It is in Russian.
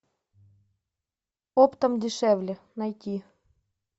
оптом дешевле найти